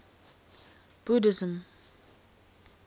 buddhism